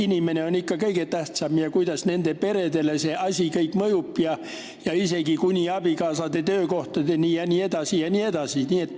Inimesed on ikka kõige tähtsamad, samuti see, kuidas kõik see nende peredele mõjub, isegi abikaasade töökohtadeni välja jne.